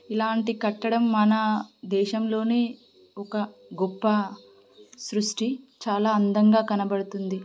ఇలాంటి కట్టడం మన దేశంలోనే ఒక గొప్ప సృష్టి చాలా అందంగా కనబడుతుంది.